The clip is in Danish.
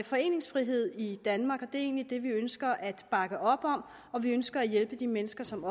foreningsfrihed i danmark og det er egentlig det vi ønsker at bakke op om og vi ønsker at hjælpe de mennesker som